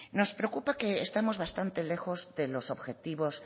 nos preocupa que estemos bastante lejos de los objetivos